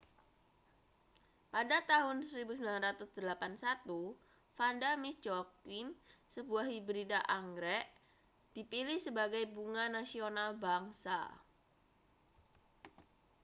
pada tahun 1981 vanda miss joaquim sebuah hibrida anggrek dipilih sebagai bunga nasional bangsa